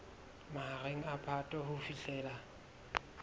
mahareng a phato ho fihlela